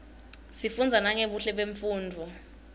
sifunza nangebuhle bemnfundzo